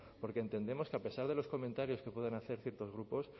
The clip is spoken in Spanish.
porque entendemos que a pesar de los comentarios que pueden hacer ciertos grupos